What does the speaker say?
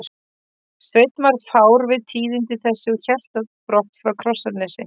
Sveinn varð fár við tíðindi þessi og hélt á brott frá Krossanesi.